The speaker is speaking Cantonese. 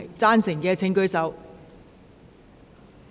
贊成的請舉手。